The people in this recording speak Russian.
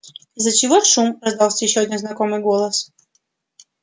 из-за чего шум раздался ещё один знакомый голос